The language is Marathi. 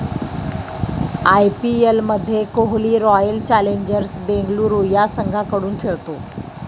आयपीएलमध्ये कोहली रॉयल चॅलेंजर बेंगळुरू या संघाकडून खेळतो.